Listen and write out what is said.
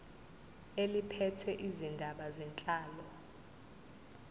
eliphethe izindaba zenhlalo